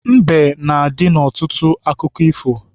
Mbe na-adị n'ọtụtụ akụkọ ifo